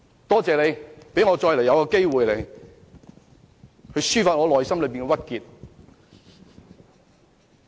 多謝代理主席讓我再次有機會抒發內心的鬱結。